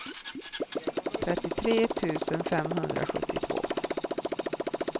trettiotre tusen femhundrasjuttiotvå